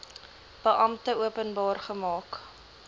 beampte openbaar gemaak